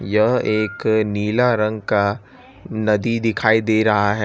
यह एक नीला रंग का नदी दिखाई दे रहा है।